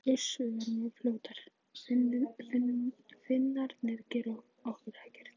Uss, við verðum svo fljótar, Finnarnir gera okkur ekkert.